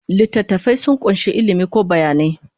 Littattafai sun ƙunshi ilimi ko bayanai.